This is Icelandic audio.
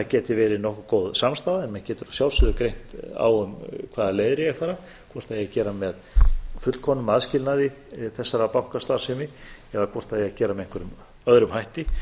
geti verið nokkuð góð samstaða en menn getur að sjálfsögðu greint á um hvaða leiðir á að fara hvort það eigi að gera með fullkomnum aðskilnaði þessara bankastarfsemi eða hvort það eigi að gera með einhverjum öðrum hætti